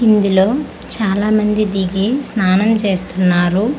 ఇందులో చాలామంది దిగి స్నానం చేస్తున్నారు.